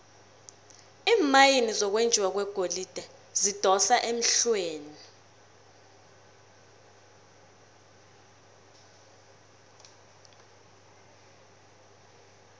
iimayini zokwenjiwa kwegolide zidosa emhlweni